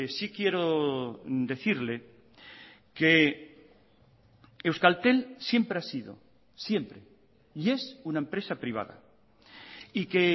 sí quiero decirle que euskaltel siempre ha sido siempre y es una empresa privada y que